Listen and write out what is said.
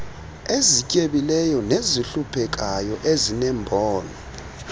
ezityebileyo nezihluphekayo ezineembono